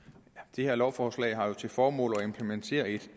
det her lovforslag har jo til formål at implementere et